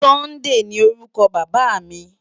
Sunday ni órúkò Baba mi